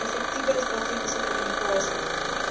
effektiewe strategiese kommunikasie